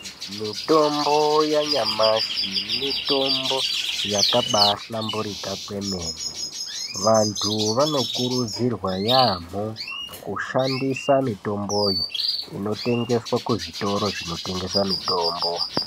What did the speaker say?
Mitombo yanyamashi mitombo yakabahlamburika kwemene vanthu vanokurudzirwa yaamho kushandisa mitomboyo inotengeswa kuzvitoro zvinotengese mitombo .